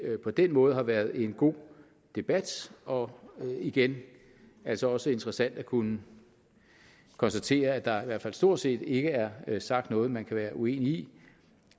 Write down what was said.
på den måde har været en god debat og igen altså også interessant at kunne konstatere at der i hvert fald stort set ikke er er sagt noget man kan være uenig